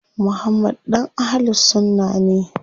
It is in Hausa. Muhammad ɗan Ahlul sunna ne.